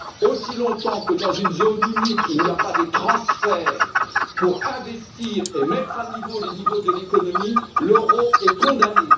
Aussi longtemps que, dans une zone unique, il n'y a pas de transferts pour investir et équilibrer les niveaux de l'économie, l'euro est condamné.